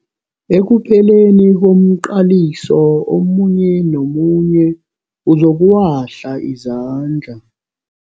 Ekupheleni komqaliso omunye nomunye uzokuwahla izandla.